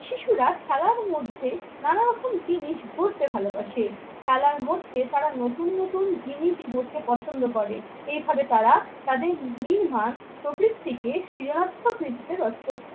শিশুরা খেলার মধ্যে নানা রকম জিনিস গড়তে ভালোবাসে। খেলার মধ্যে তারা নতুন নতুন জিনিসই গড়তে পছন্দ করে। এইভাবে তারা তাদের নির্মাণ প্রবৃত্তিকে